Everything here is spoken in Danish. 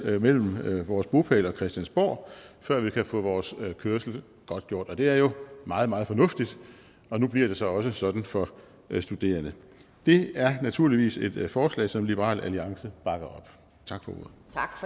mellem vores bopæl og christiansborg før vi kan få vores kørsel godtgjort det er jo meget meget fornuftigt og nu bliver det så også sådan for studerende det er naturligvis et forslag som liberal alliance bakker op tak for ordet